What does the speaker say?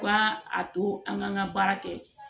Ka a to an ka baara kɛ